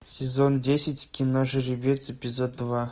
сезон десять кино жеребец эпизод два